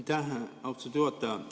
Aitäh, austatud juhataja!